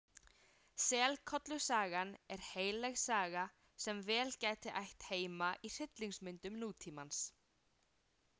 Selkollusagan er heilleg saga sem vel gæti ætt heima í hryllingsmyndum nútímans.